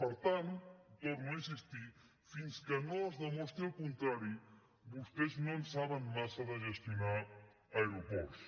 per tant hi torno a insistir fins que no es demostri el contrari vostès no en saben massa de gestionar aeroports